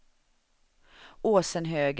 Åsenhöga